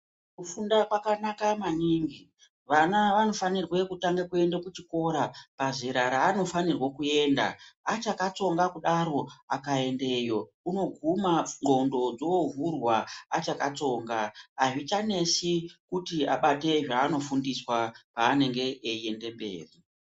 Kufunda kwakanaka maningi vana vanofanirwe kutanga kuenda kuchikora pazera raanofanirwa kuenda. Achakatsonga kudaro akaendeyo unoguma ndxondo dzovhurwa achakatsonga. Hazvicha netsi kuti abate zvanofundiswa panenge eiende mberi.